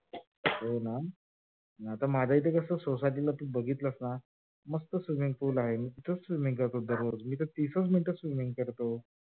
हों मग आता माझ इथे कस आहे? society ला बघितलस ना? मस्त swimming pool आजे मी तर तीसच minutes swimming करतो.